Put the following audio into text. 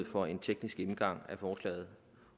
for en teknisk gennemgang af forslaget